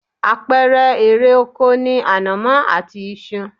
Àpẹẹrẹ erè oko ni ànàmọ́ àti iṣu